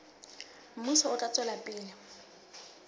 mmuso o tla tswela pele